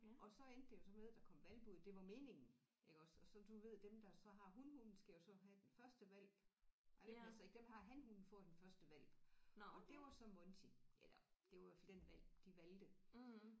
Og så endte det jo så med der kom hvalpe ud det var meningen iggås og så du ved dem der så har hunhunden skal jo så have den første hvalp ej det passer ikke dem der har hanhunden får den første hvalp og det var så Monty eller det var i hvert fald den hvalp de valgte